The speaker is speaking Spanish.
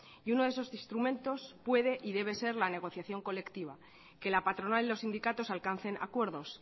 y uno de esos instrumentos puede y debe ser la negociación colectiva que la patronal y los sindicatos alcancen acuerdos